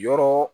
Yɔrɔ